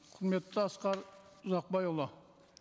құрметті асқар ұзақбайұлы